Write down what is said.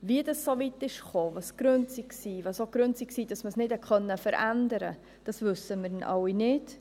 Wie es so weit kam, welches die Gründe waren, was auch die Gründe waren, dass man es nicht verändern konnte, das wissen wir alle nicht.